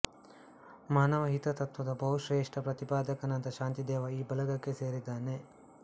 ಮಾನವ ಹಿತತತ್ತ್ವದ ಬಹುಶ್ರೇಷ್ಠ ಪ್ರತಿಪಾದಕನಾದ ಶಾಂತಿದೇವ ಈ ಬಳಗಕ್ಕೆ ಸೇರಿದ್ದಾನೆ